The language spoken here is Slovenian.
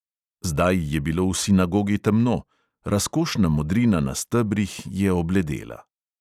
Zdaj je bilo v sinagogi temno, razkošna modrina na stebrih je obledela.